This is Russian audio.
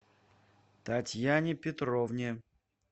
татьяне петровне